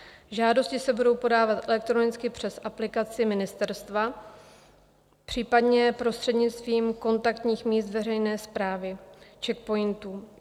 Žádosti se budou podávat elektronicky přes aplikaci ministerstva, případně prostřednictvím kontaktních míst veřejné správy, CzechPOINTů.